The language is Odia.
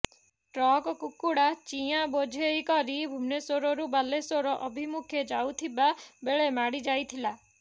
ଟ୍ରକ କୁକୁଡା ଚିଆଁ ବୋଝେଇ କରି ଭୁବନେଶ୍ୱରରୁ ବାଲେଶ୍ୱର ଅଭିମୁଖେ ଯାଉଥିବା ବେଳେ ମାଡି ଯାଇଥିଲା